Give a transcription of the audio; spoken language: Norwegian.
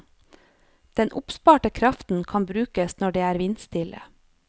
Den oppsparte kraften kan brukes når det er vindstille.